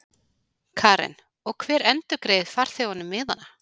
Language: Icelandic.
Karen: Og hver endurgreiðir farþegunum miðana?